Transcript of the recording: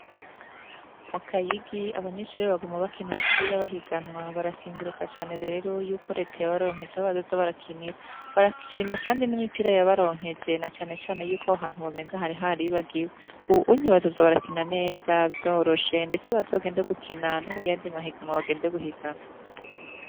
Mu Kayigi abanyeshure baguma bakina umupira bahiganwa, barakenguruka cane rero yuko Reta yabaronkeje aho bazoza barakinira. Barashima cane kandi n'imipira yabaronkeje, na cane cane yuko aho hantu wamenga hari haribagiwe. Ubunyi bazoza barakina neza, vyoroshe, ndetse bazogende gupina no muyandi mahiganwa bagende guhiganwa.